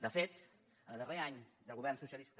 de fet el darrer any de govern socialista